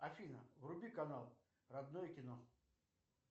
афина вруби канал родное кино